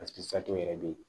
yɛrɛ bɛ ye